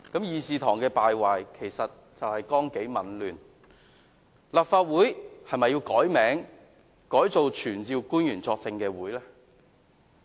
議事堂的敗壞，就是由於綱紀紊亂，立法會是否要改名為"傳召官員作證會"呢？